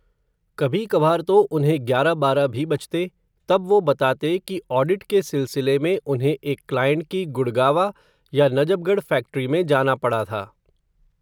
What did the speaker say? कभी कभार तो उन्हें ग्यारह बारह भी बजते, तब वो बताते, कि ऑडिट के सिलसिले में उन्हें, एक क्लाईंट की गुड़गावा, या नजबगढ़ फ़ैक्टरी में जाना पड़ा था